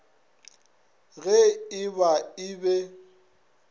ge e ba e be